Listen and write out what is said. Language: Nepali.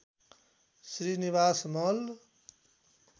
श्री निवास मल्ल